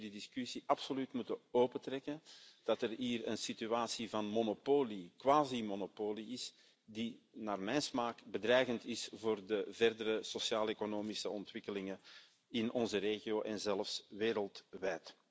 Ik denk dat we die discussie absoluut moeten opentrekken omdat er sprake is van een situatie van monopolie, quasimonopolie, die naar mijn smaak bedreigend is voor de verdere sociaaleconomische ontwikkelingen in onze regio en zelfs wereldwijd.